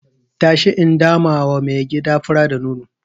Tashi in damawa mai gida fura da nono.